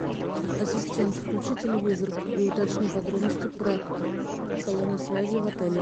ассистент включи телевизор и уточни подробности про салоны связи в отеле